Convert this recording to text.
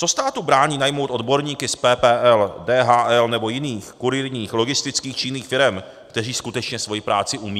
Co státu brání najmout odborníky z PPL, DHL nebo jiných kurýrních, logistických či jiných firem, kteří skutečně svoji práci umějí?